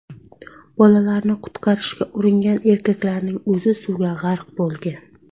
Bolalarni qutqarishga uringan erkaklarning o‘zi suvga g‘arq bo‘lgan.